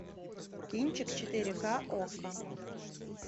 кинчик четыре к окко